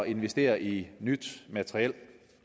investere i nyt materiel